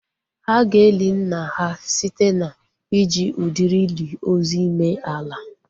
Ha ga-eli nna ha site na iji udiri ili ozu ime ala